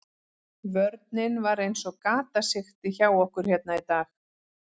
Vörnin var eins og gatasigti hjá okkur hérna í dag.